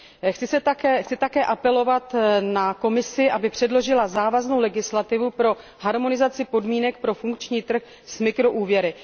Chci také apelovat na Komisi, aby předložila závaznou legislativu pro harmonizaci podmínek pro funkční trh s mikroúvěry.